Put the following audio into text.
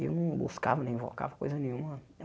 E eu não buscava nem invocava coisa nenhuma.